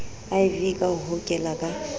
iv ka ho hokela ka